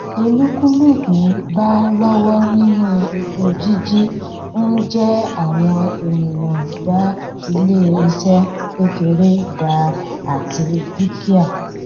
olúkúlùkù bá lọwọ nínú epo jíjí ń jẹ àwọn ènìyàn gba ilé iṣẹ kékeré dá àti dúkìá